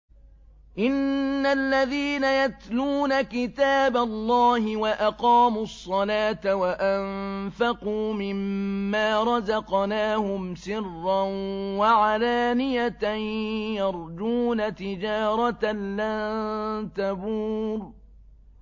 إِنَّ الَّذِينَ يَتْلُونَ كِتَابَ اللَّهِ وَأَقَامُوا الصَّلَاةَ وَأَنفَقُوا مِمَّا رَزَقْنَاهُمْ سِرًّا وَعَلَانِيَةً يَرْجُونَ تِجَارَةً لَّن تَبُورَ